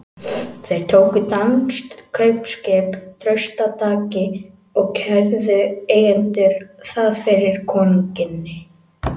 Þeir tóku danskt kaupskip traustataki og kærðu eigendur það fyrir konungi.